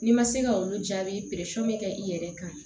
N'i ma se ka olu jaabi peseli kɛ i yɛrɛ kan